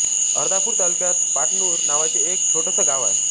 अर्धापूर तालुक्यात पाटनूर नावाचे एक छोटसं गाव आहे